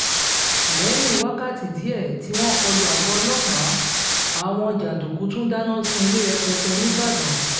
lẹ̀yìn wákàtí díẹ̀ tí wọ́n kọ lu àgọ́ ọlọ́pàá àwọn jàǹdùkú tún dáná sun ilé rẹpẹtẹ nìbàdàn